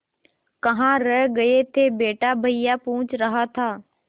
कहाँ रह गए थे बेटा भैया पूछ रहा था